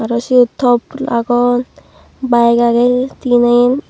aro ciyot top agon bayeg agey teenen.